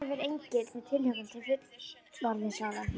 Í bernsku horfir Egill með tilhlökkun til fullorðinsára.